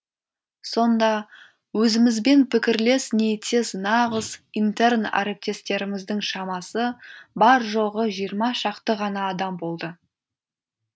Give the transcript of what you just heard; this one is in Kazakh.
сонда өзімізбен пікірлес ниеттес нағыз интерн әріптестеріміздің шамасы бар жоғы жиырма шақты ғана адам болды